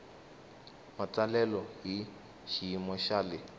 matsalelo hi xiyimo xa le